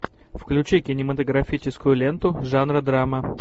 включи кинематографическую ленту жанра драма